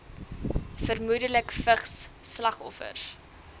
vermoedelik vigs slagoffers